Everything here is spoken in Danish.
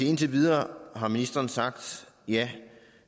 indtil videre har ministeren sagt ja